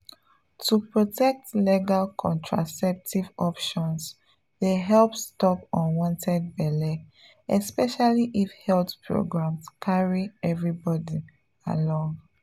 to protect legal contraceptive options dey help stop unwanted belle especially if health programs carry everybody along.